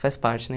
Faz parte, né?